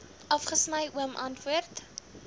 afgesny oom antwoord